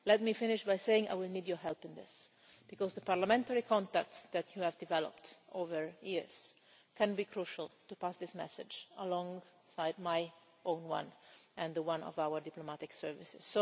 Let me finish by saying that I will need your help in this, because the parliamentary contacts that you have developed over the years can be crucial to pass on this message alongside my own and that of our diplomatic services.